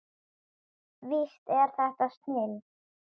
Víst er þetta snilld.